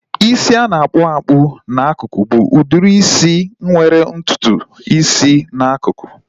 Isi a na-akpowapu n'akụkụ bụ udiri isi nwere ntutu isi n'akụkụ